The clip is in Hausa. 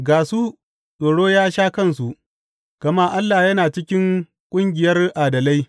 Ga su, tsoro ya sha kansu, gama Allah yana cikin ƙungiyar adalai.